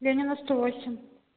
ленина сто восемь